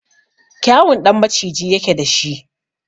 Kyawun ɗan maciji yake da shi.